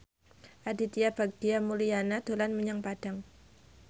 Aditya Bagja Mulyana dolan menyang Padang